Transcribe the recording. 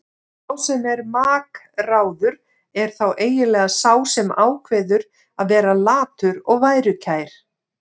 Sá sem er makráður er þá eiginlega sá sem ákveður að vera latur og værukær.